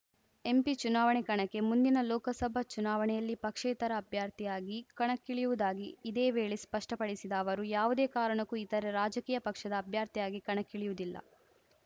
MP ಚುನಾವಣೆ ಕಣಕ್ಕೆ ಮುಂದಿನ ಲೋಕಸಭಾ ಚುನಾವಣೆಯಲ್ಲಿ ಪಕ್ಷೇತರ ಅಭ್ಯರ್ಥಿಯಾಗಿ ಕಣಕ್ಕಿಳಿಯುವುದಾಗಿ ಇದೇ ವೇಳೆ ಸ್ಪಷ್ಟಪಡಿಸಿದ ಅವರು ಯಾವುದೇ ಕಾರಣಕ್ಕೂ ಇತರ ರಾಜಕೀಯ ಪಕ್ಷದ ಅಭ್ಯರ್ಥಿಯಾಗಿ ಕಣಕ್ಕಿಳಿಯುವುದಿಲ್ಲ